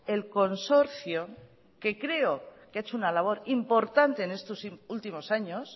el consorcio que creo que ha hecho una labor importante en estos últimos años